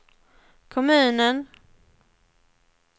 kommunen